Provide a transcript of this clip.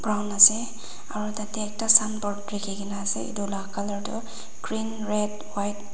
brown ase aro tade ekta signboard likhi gina ase edu la color toh green red white --